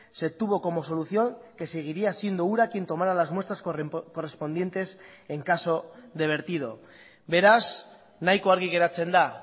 se tuvo como solución que seguiría siendo ura quien tomara las muestras correspondientes en caso de vertido beraz nahiko argi geratzen da